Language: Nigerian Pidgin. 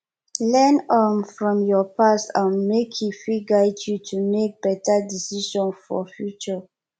learn um from yur past um mek e fit guide yu to mek beta decision for future